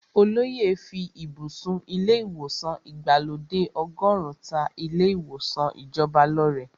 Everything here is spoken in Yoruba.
Olóyè fí ibùsùn ilé ìwòsàn ìgbàlódé ọgọ́run ta ilé ìwòsàn ìjọba lọ́rẹ.